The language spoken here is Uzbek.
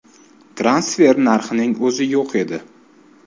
Transfer narxining o‘zi yo‘q edi.